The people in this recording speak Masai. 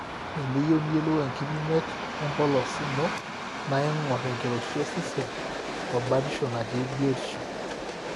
eniyieu niyiolou enkipimet empolos ino naa iing'or enkiroshi osesen o batisho natii biotishu